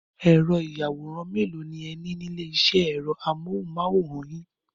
Ẹ̀rọ-ìyàwòrán mélòó ni ẹ ní ní ilé-iṣẹ́ ẹ̀rọ amóhùmáwòhán yín?